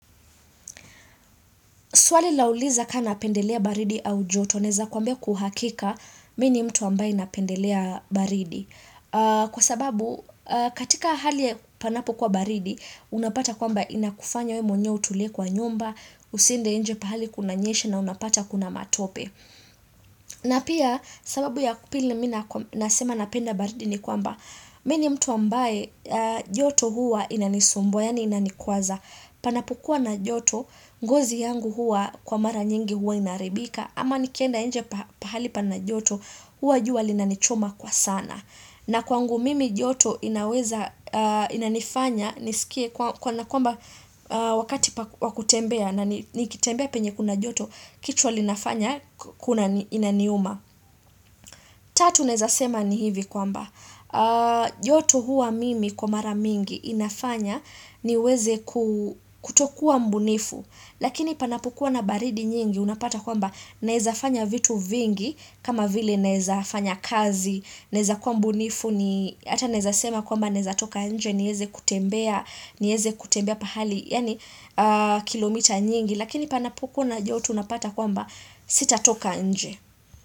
Swali lauliza ka napendelea baridi au joto, naweza kuambia kwa hakika, mimi ni mtu ambaye napendelea baridi. Kwa sababu, katika hali panapo kuwa baridi, unapata kwamba inakufanya wewe mwenyewe utulie kwa nyumba, usiende nje pahali kuna nyesha na unapata kuna matope. Na pia, sababu ya pili mimi nasema napenda baridi ni kwamba, mimi ni mtu ambaye joto huwa inanisumbua, yaani inanikwaza. Panapokuwa na joto, ngozi yangu huwa kwa mara nyingi huwa inaharibika ama nikienda nje pahali pana joto, huwa jua linanichoma kwa sana na kwangu mimi joto inaweza inanifanya niskie kwa kana kwamba wakati wa kutembea nanikitembea penye kuna joto, kichwa linafanya kuna inaniuma Tatu naeza sema ni hivi kwamba, joto huwa mimi kwa mara mingi inafanya niweze kutokuwa mbunifu, lakini panapokuwa na baridi nyingi unapata kwamba naeza fanya vitu vingi kama vile naeza fanya kazi, naeza kuwa mbunifu ni hata naeza sema kwamba naeza toka nje, nieze kutembea, nieze kutembea pahali, yaani kilomita nyingi, lakini panapokuwa na joto unapata kwamba sita toka nje.